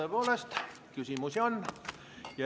Tõepoolest, küsimusi on.